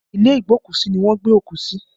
Ilé igbokusi ni wọ́n gbé òkú sí